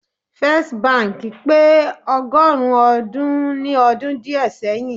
First bank pe ogorun odun ni odun die seyin